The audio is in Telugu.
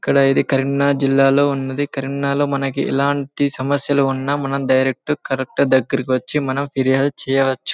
ఇక్కడ ఇధి కరీంనగర్ జిల్లా లో ఉన్నది. కరీంనగర్ లో మనకి ఎలాంటి సమస్యలు ఉన్న మనం డైరెక్ట్ కలెక్టర్ దగ్గరకి వచ్చి మనం ఫిరియాడు చెయ్యవచ్చు.